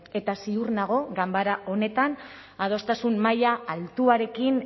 eta ziur nago ganbera honetan adostasun maila altuarekin